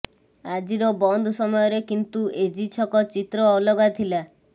ଆଜିର ବନ୍ଦ ସମୟରେ କିନ୍ତୁ ଏଜି ଛକ ଚିତ୍ର ଅଲଗା ଥିଲା